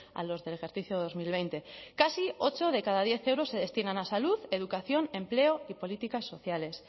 a los del ejercicio dos mil veinte casi ocho de cada diez euros se destinan a salud educación empleo y políticas sociales